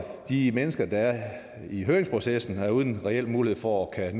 de mennesker der er i høringsprocessen har været uden reel mulighed for at